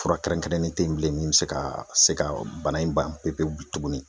Fura kɛrɛnkɛrɛnnen te yen bilen min be se ka se ka bana in ban pepewu bi tuguni